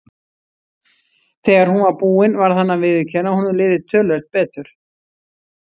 Þegar hún var búin varð hann að viðurkenna að honum liði töluvert betur.